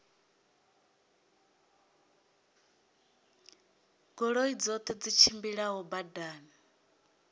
goloi dzoṱhe dzi tshimbilaho badani